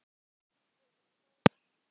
Við vorum góðir saman.